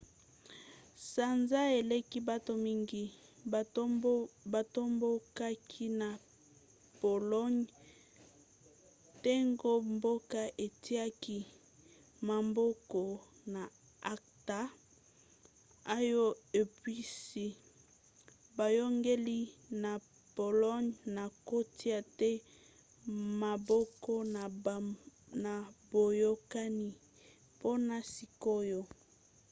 sanza eleki bato mingi batombokaki na pologne ntango mboka etiaki maboko na acta oyo epusi boyangeli ya pologne na kotia te maboko na boyokani mpona sikoyo